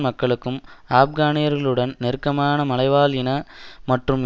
மக்களும் ஆப்கானியர்களுடன் நெருக்கமான மலைவாழ் இன மற்றும்